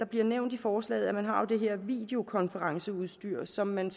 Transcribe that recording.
bliver nævnt i forslaget at man har det her videokonferenceudstyr som man